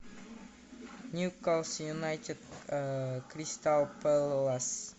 ньюкасл юнайтед кристал пэлас